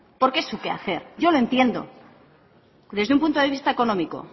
porque es su quehacer yo lo entiendo desde un punto de vista económico